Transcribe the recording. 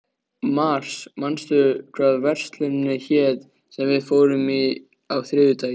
Mars, manstu hvað verslunin hét sem við fórum í á þriðjudaginn?